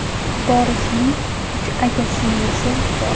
Borisning uch aka-singlisi bor.